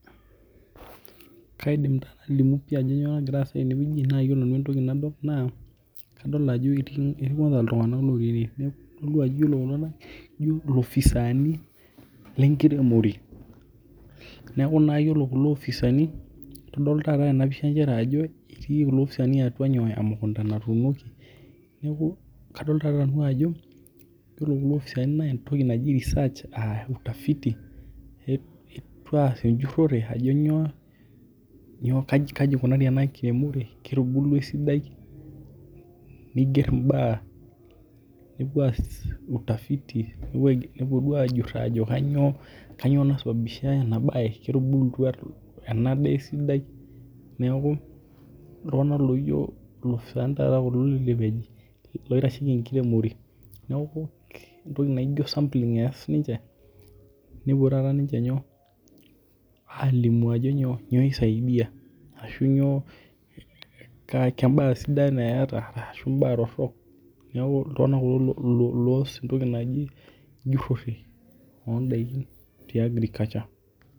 Kaidim naa nalimu pii ajo kainyoo nagira aasa teneweji naa ore nanu entoki nadol naa kadol niye kwanza ajo eetii iltung'ana looti eneweji naa ore kulo tung'ana ijo ilopisaani lenkiremore neeku naa ore kulo opisan tedol taata tena pisha nchere ajo etii kulo opisani atua nyoo emukunta naatunoki. Neeku kadol taata nanu ajo iyiolo kulo opisani naa entoki naji research aa utafiti etuo aas ejurore ajo nyoo kaji ikunari ena kiremore ketubulua esidai niger ibaa nepuo aas utafiti nepuo duo ajuur ajo kainyoo kainyo naisabisbisha ena bar ketubulua ena daa esidai neeku iltung'ana loijo kulo loopisani loitasheki enkiremore neeku entoki naiko sampling ees ninche nepuo taata ninche nyoo? Alimu ajo nyoo isaidia ashu inyoo kee baa sidan eeta ashu kee baa torok neeku iltung'ana kulo loos ebae naji ejurore oo daikin te agriculture